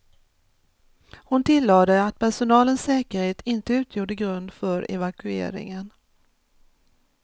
Hon tillade att personalens säkerhet inte utgjorde grund för evakueringen.